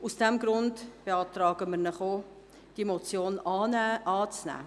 Aus diesem Grund beantragen wir Ihnen, diese Motion anzunehmen.